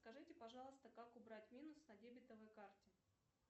скажите пожалуйста как убрать минус на дебетовой карте